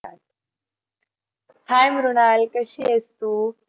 hey Mrunal कशी आहेस तू?